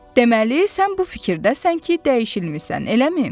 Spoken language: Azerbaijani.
Deməli, sən bu fikirdəsən ki, dəyişilmisan, eləmi?